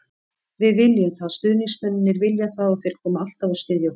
Við viljum það, stuðningsmennirnir vilja það og þeir koma alltaf og styðja okkur.